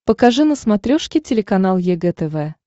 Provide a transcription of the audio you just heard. покажи на смотрешке телеканал егэ тв